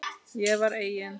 Ég var eigin